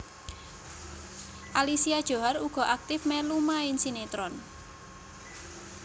Alicia Djohar uga aktif mèlu main sinetron